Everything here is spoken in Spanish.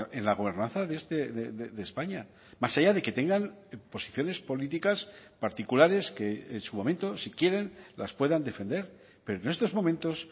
en la gobernanza de españa más allá de que tengan posiciones políticas particulares que en su momento si quieren las puedan defender pero en estos momentos